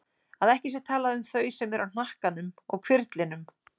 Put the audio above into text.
Að ekki sé talað um þau sem eru á hnakkanum og hvirflinum.